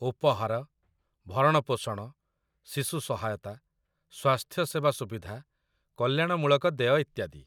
ଉପହାର, ଭରଣପୋଷଣ, ଶିଶୁ ସହାୟତା, ସ୍ୱାସ୍ଥ୍ୟସେବା ସୁବିଧା, କଲ୍ୟାଣମୂଳକ ଦେୟ ଇତ୍ୟାଦି।